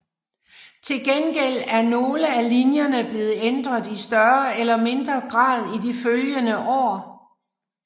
Til gengæld er nogle af linjerne blevet ændret i større eller mindre grad i de følgende år